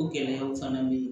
O gɛlɛyaw fana bɛ yen